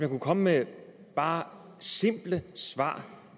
kunne komme med bare simple svar